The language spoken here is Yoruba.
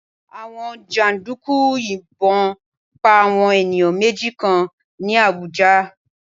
Àwọn jàǹdùkú yìnbọn pa àwọn ènìyàn méjì kan ní Àbújá